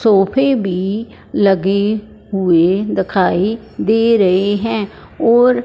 सोफे भी लगे हुए दखाई दे रहे हैं और--